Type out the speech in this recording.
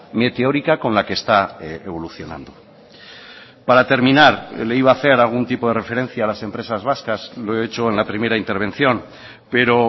meteórica con la que está evolucionando para terminar le iba a hacer algún tipo de referencia a las empresas vascas lo he hecho en la primera intervención pero